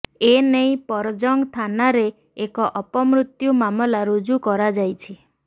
ଏନେଇ ପରଜଙ୍ଗ ଥାନାରେ ଏକ ଅପମୃତ୍ୟୁ ମାମଲା ରୁଜୁ କରାଯାଇଛି